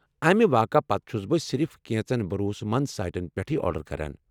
امہ واقعہٕ پتہٕ چُھس بہٕ صرف کینٛژن بھروسہٕ مند سائٹن پٮ۪ٹھٕے آرڈر کران۔